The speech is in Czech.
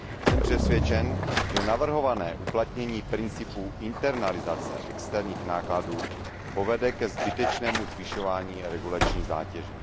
Jsem přesvědčen, že navrhované uplatnění principu internalizace externích nákladů povede ke zbytečnému zvyšování regulační zátěže.